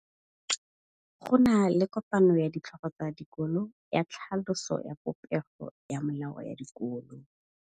Go na le kopanô ya ditlhogo tsa dikolo ya tlhaloso ya popêgô ya melao ya dikolo.